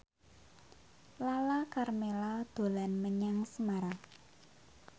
Lala Karmela dolan menyang Semarang